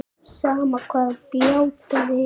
Sama hvað bjátaði á.